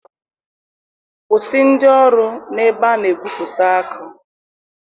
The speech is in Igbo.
Kwụsị ndị ọrụ na ebe a na-egwupụta akụ